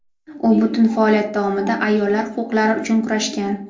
U butun faoliyati davomida ayollar huquqlari uchun kurashgan.